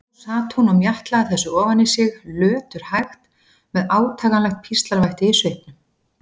Nú sat hún og mjatlaði þessu ofan í sig, löturhægt, með átakanlegt píslarvætti í svipnum.